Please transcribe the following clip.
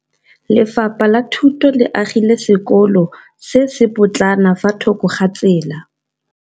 Lefapha la Thuto le agile sekôlô se se pôtlana fa thoko ga tsela.